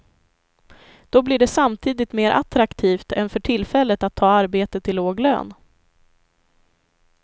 Då blir det samtidigt mer attraktivt än för tillfället att ta arbete till låg lön.